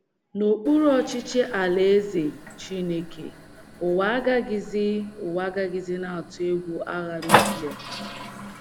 N’okpuru ọchịchị Alaeze Chineke, ụwa agaghịzi, ụwa agaghịzi na - atụ egwu agha nuklia